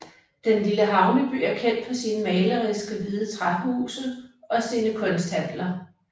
Den lille havneby er kendt for sine maleriske hvide træhuse og sine kunsthandler